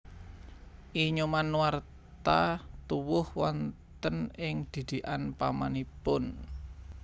I Nyoman Nuarta tuwuh wonten ing didikan pamanipun